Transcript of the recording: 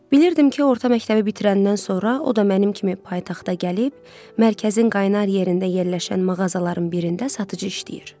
Bilirdim ki orta məktəbi bitirəndən sonra o da mənim kimi paytaxta gəlib, mərkəzin qaynar yerində yerləşən mağazaların birində satıcı işləyir.